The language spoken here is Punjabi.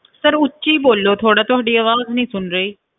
Sir ਉੱਚੀ ਬੋਲੋ ਥੋੜ੍ਹਾ ਤੁਹਾਡੀ ਆਵਾਜ਼ ਨੀ ਸੁਣ ਰਹੀ।